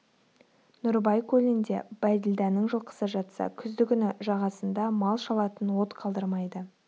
нұрыбай көлінде бәйділданың жылқысы жатса күзді күні жағасында мал шалатын от қалдырмайды